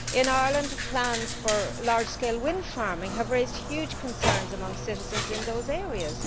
In Ireland, plans for large scale wind farming have raised huge concerns amongst citizens in those areas.